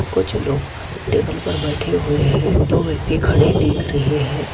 कुछ लोग टेबल पर बैठे हुए हैं दो व्यक्ति खड़े दिख रहे है।